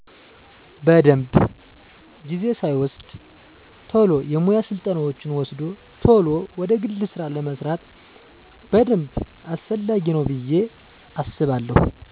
በደንብ። ጊዜ ሳይወስድ ቶሎ የሙያ ስልጠናወችን ወስዶ ቶሎ ወደ ግል ስራ ለመስማራት በደንብ አስፈላጊ ነው ብየ አስባለው።